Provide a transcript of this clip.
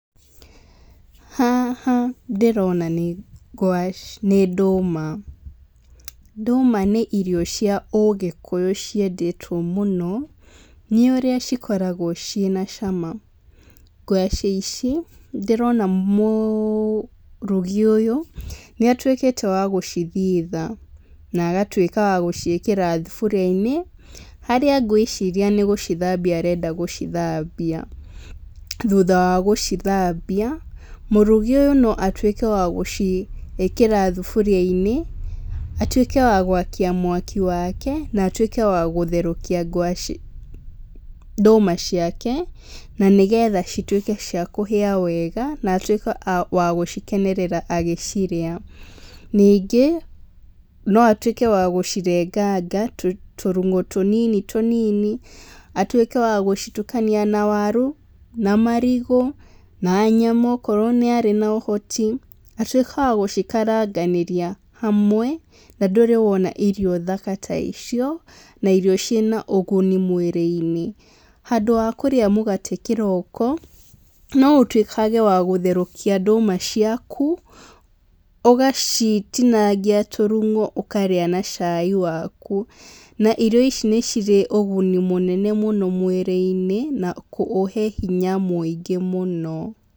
Haha ndĩrona nĩ ngwacĩ, nĩ ndũma, ndũma nĩ irio cia ũgĩkũyũ ciendetwo mũno, nĩũrĩa cikoragwo ciĩna cama, ngwacĩ ici, ndĩrona mũrugi ũyũ, nĩatuĩkĩte wa gũcithita, na agatuĩka wa gũciĩkĩra thuburia-inĩ, harĩa ngwĩciria nĩgũcithambia arenda gũcithambia, thutha wa gũcithambia, mũrugi ũyũ no atuĩke wa gũciĩkĩra thuburia-inĩ, atuĩke wa gwakia mwaki wake, na atuĩke wa gũtherũkia ngwacĩ ndũma ciake, na nĩgetha cituike cia kũhĩa wega na atuĩke a wagũcikenerera agĩcirĩa, ningĩ, no atuĩke wa gũcirenganga tũ tũnyamũ tũnini tũnini, atuĩke wa gũcitukania na waru, na marigũ, na nyama, okorwo nĩarĩ na ũhoti, atuĩke wa gũcikaranganĩria hamwe, na ndũrĩ wona irio thaka ta icio, na irio ciĩna ũguni mwĩrĩ-inĩ, handũ ha kũrĩa mũgate kĩroko, noũtuĩkage wa gũtherũkia ndũma ciaku, ũgacitinangia tũrung'o ũkarĩa na cai waku na irio ici nĩcirĩ ũguni mũnene mũno mwĩrĩ-inĩ na kũ ũhe hinya mũingĩ mũno.